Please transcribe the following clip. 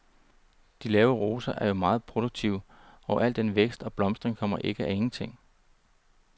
De lave roser er jo meget produktive, og al den vækst og blomstring kommer ikke af ingenting.